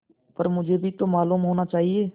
पर मुझे भी तो मालूम होना चाहिए